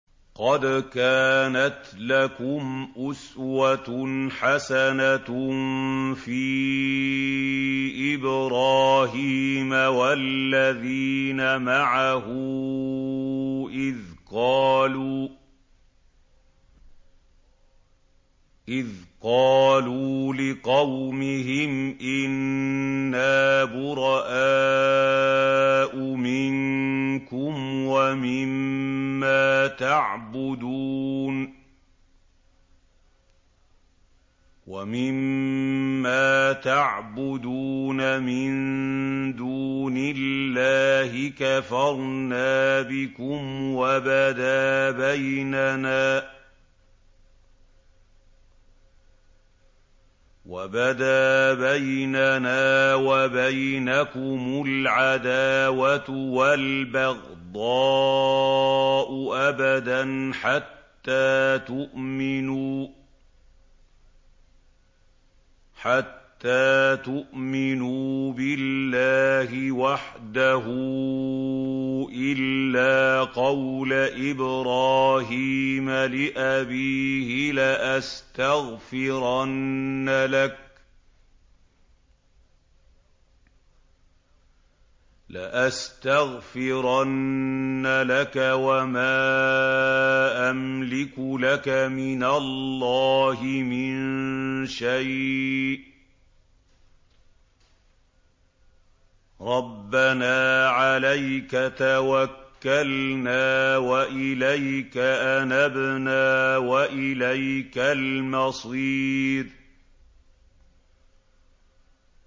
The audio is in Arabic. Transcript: قَدْ كَانَتْ لَكُمْ أُسْوَةٌ حَسَنَةٌ فِي إِبْرَاهِيمَ وَالَّذِينَ مَعَهُ إِذْ قَالُوا لِقَوْمِهِمْ إِنَّا بُرَآءُ مِنكُمْ وَمِمَّا تَعْبُدُونَ مِن دُونِ اللَّهِ كَفَرْنَا بِكُمْ وَبَدَا بَيْنَنَا وَبَيْنَكُمُ الْعَدَاوَةُ وَالْبَغْضَاءُ أَبَدًا حَتَّىٰ تُؤْمِنُوا بِاللَّهِ وَحْدَهُ إِلَّا قَوْلَ إِبْرَاهِيمَ لِأَبِيهِ لَأَسْتَغْفِرَنَّ لَكَ وَمَا أَمْلِكُ لَكَ مِنَ اللَّهِ مِن شَيْءٍ ۖ رَّبَّنَا عَلَيْكَ تَوَكَّلْنَا وَإِلَيْكَ أَنَبْنَا وَإِلَيْكَ الْمَصِيرُ